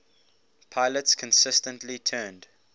pilots consistently turned